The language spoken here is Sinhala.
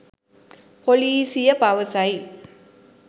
පොලිසිය පවසයි